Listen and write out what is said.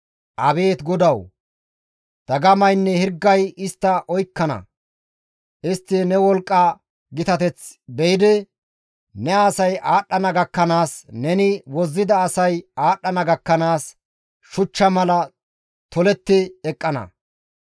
Abeet GODAWU! Dagamaynne hirgay istta oykkana. Istti ne wolqqa gitateth be7idi, ne asay aadhdhana gakkanaas, neni wozzida asay aadhdhana gakkanaas, shuchcha mala toletti eqqana.